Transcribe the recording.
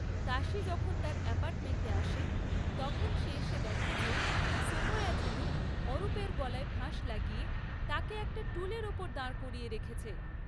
তাশি যখন তার অ্যাপার্টমেন্টে আসে, তখন সে এসে দেখে যে সোমায়াজুলু অরূপের গলায় ফাঁস লাগিয়ে তাকে একটা টুলের ওপর দাঁড় করিয়ে রেখেছে।